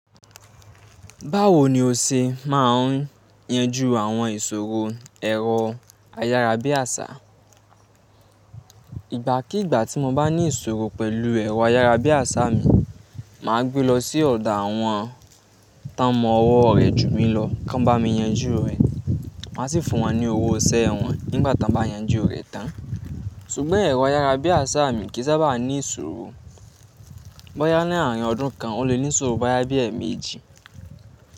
Báwo ni o ṣe máa ń yanju àwọn ìṣòro ẹ̀rọ ayárabíàṣá? Ìgbà kí ìgbà tí mo bá ní ìṣòro pẹ̀lú ẹ̀rọ ayárabíàṣá mi, màá gbé lọ sí ọ̀dọ àwọn tánmọ̀ ọwọ́ rẹ̀ jù mí lọ kí wọ́n bá mi yanjú rẹ̀. Máa sì fún wọn ní owó iṣẹ́ wọn nígbà tọ́n bá yanjú rẹ̀ tán. Ṣùgbọ́n ẹ̀rọ ayárabíàṣá mi kì í sábà ní ìṣòro. Bóyá láàrín ọdún kan o le ní ìṣòro bóyá bí i ẹẹ̀ẹ̀méjì.